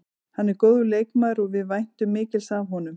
Hann er góður leikmaður og við væntum mikils af honum.